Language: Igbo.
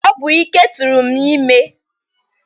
Ọ bụ Ike tụrụ m ime.